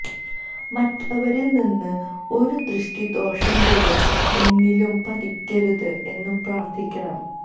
മറ്റുള്ളവരിൽ നിന്ന് ഒരു ദൃഷ്ടി ദോഷം പോലും എന്നിലും പതിക്കരുത് എന്നും പ്രാർത്ഥിക്കണം